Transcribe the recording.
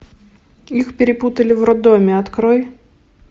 их перепутали в роддоме открой